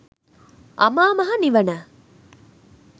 අමා මහ නිවන